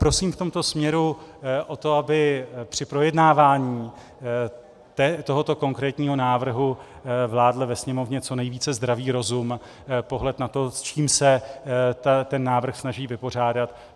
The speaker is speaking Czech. Prosím v tomto směru o to, aby při projednávání tohoto konkrétního návrhu vládl ve Sněmovně co nejvíce zdravý rozum, pohled na to, s čím se ten návrh snaží vypořádat.